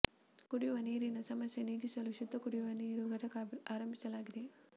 ಕುಡಿಯುವ ನೀರಿನ ಸಮಸ್ಯೆ ನೀಗಿಸಲು ಶುದ್ಧ ಕುಡಿಯುವ ನೀರು ಘಟಕ ಆರಂಭಿಸಲಾಗಿದೆ